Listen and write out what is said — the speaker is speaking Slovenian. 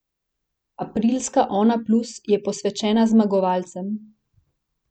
Aprilska Onaplus je posvečena zmagovalcem.